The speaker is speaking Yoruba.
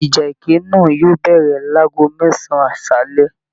Ìjà ẹkẹ náà yóò bẹ̀rẹ̀ láàgò mẹsan aṣálẹ.